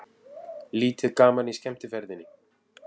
Lítið gaman í skemmtiferðinni